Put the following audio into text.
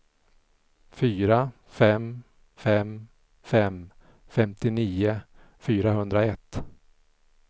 fyra fem fem fem femtionio fyrahundraett